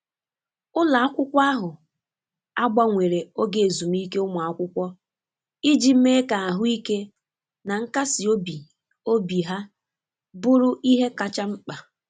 Ụlọ akwụkwọ ahụ agbanwere oge ezumike ụmụakwụkwọ iji mee ka ahụike na nkasi obi obi ha buru ihe kacha mkpa.